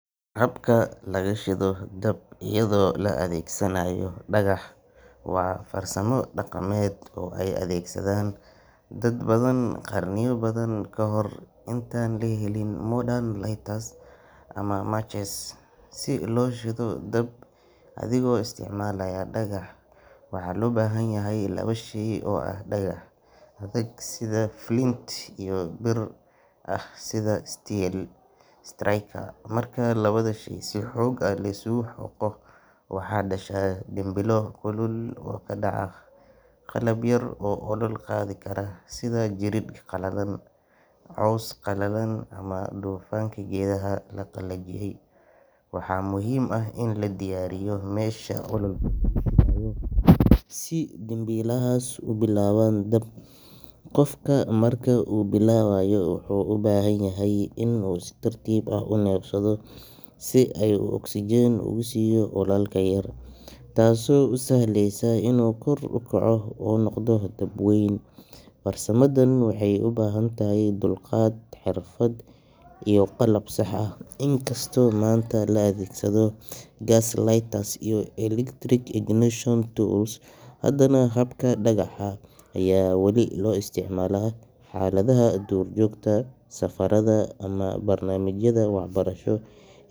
Habka laga shido dab iyadoo la adeegsanayo dhagax waa farsamo dhaqameed oo ay adeegsadeen dad badan qarniyo badan kahor intaan la helin modern lighters ama matches. Si loo shido dab adigoo isticmaalaya dhagax, waxaa loo baahan yahay laba shay oo ah dhagax adag sida flint iyo bir bir ah sida steel striker. Marka labada shay si xoog leh la isugu xoqo, waxa dhasha dhimbilo kulul oo ku dhaca qalab yar oo olol qaadi kara sida jirid qalalan, caws qalalan ama dufanka geedaha la qalajiyey. Waxaa muhiim ah in la diyaariyo meesha ololka lagu shidayo, si dhimbilahaas u bilaabaan dab. Qofka marka uu bilaabayo wuxuu u baahan yahay inuu si tartiib ah u neefsado si uu oksijiin ugu siiyo ololka yar, taasoo u sahlaysa inuu kor u kaco oo noqdo dab weyn. Farsamadan waxay u baahan tahay dulqaad, xirfad iyo qalab sax ah. Inkastoo maanta la adeegsado gas lighters iyo electric ignition tools, haddana habka dhagaxa ayaa weli loo isticmaalaa xaaladaha duurjoogta, safarada ama barnaamijyada waxbarasho ee.